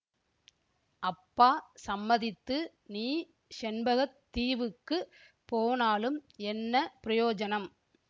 அப்பா சம்மதித்து நீ செண்பக தீவுக்குப் போனாலும் என்ன பிரயோஜனம்